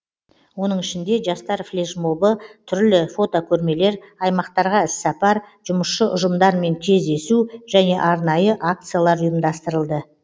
оның ішінде жастар флешмобы түрлі фотокөрмелер аймақтарға іссапар жұмысшы ұжымдармен кездесу және арнайы акциялар ұйымдастырылды